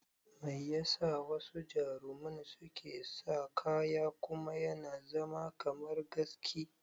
Mai yasa wasu jaruman suke sa kaya kuma yana zama kamar gaski?